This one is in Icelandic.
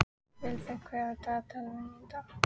Vilberg, hvað er á dagatalinu mínu í dag?